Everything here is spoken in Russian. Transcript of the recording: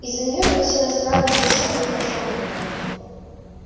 из-за неё доносилось странное шуршание и пощёлкивание